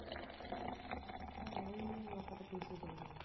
உம் அவங்களையே எங்க அப்பா கிட்ட பேச சொல்லலாம்